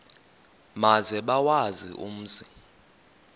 maze bawazi umzi